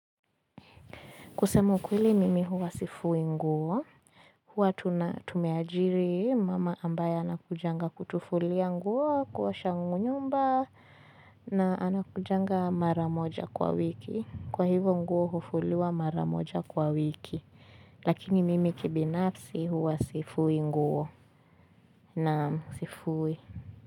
Kusema ukweli mimi huwa sifui nguo, huwa tumeajiri mama ambaye anakujanga kutufulia nguo, kuosha nyumba na anakujanga mara moja kwa wiki, kwa hivo nguo hufuliwa mara moja kwa wiki lakini mimi kibinafsi huwa sifui nguo na sifui.